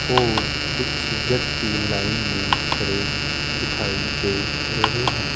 और कुछ व्यक्ति लाइन में खड़े दिखाई दे रहे हैं।